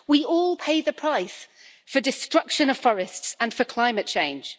We all pay the price for destruction of forests and for climate change.